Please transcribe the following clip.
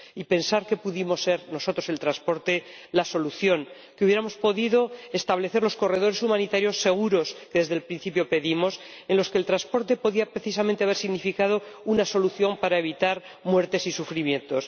Y pensar que pudimos ser nosotros, el transporte, la solución que habríamos podido establecer los corredores humanitarios seguros que desde el principio pedimos, en los que el transporte podía precisamente haber significado una solución para evitar muertes y sufrimientos